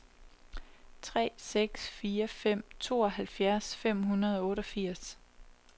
tre seks fire fem tooghalvfjerds fem hundrede og otteogfirs